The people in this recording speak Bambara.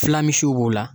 Fila misiw b'o la